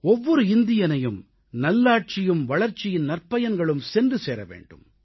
ஒவ்வொரு இந்தியனையும் நல்லாட்சியும் வளர்ச்சியின் நற்பயன்களும் சென்று சேர வேண்டும்